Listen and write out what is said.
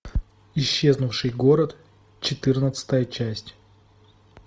исчезнувший город четырнадцатая часть